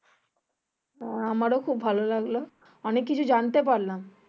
আহ আমার ও খুব ভালো লাগলো অনেক কিছু জানতে পারলাম।